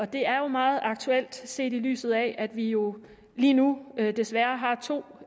det er jo meget aktuelt set i lyset af at vi jo lige nu desværre har to